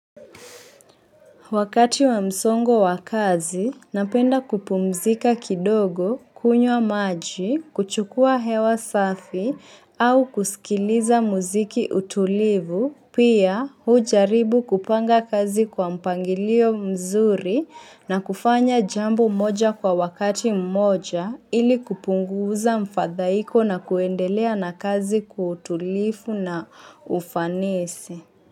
Wakati wa msongo wakazi, napenda kupumzika kidogo, kunywa maji, kuchukua hewa safi, au kusikiliza muziki utulivu, pia hujaribu kupanga kazi kwa mpangilio mzuri na kufanya jambo moja kwa wakati mmoja ili kupunguza mfadhaiko na kuendelea na kazi kwa utulivu na ufanisi.